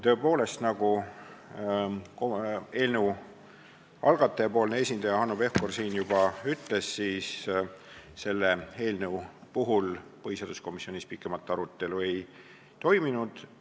Tõepoolest, nagu algataja esindaja Hanno Pevkur siin juba ütles, selle eelnõu üle komisjonis pikemat arutelu ei toimunud.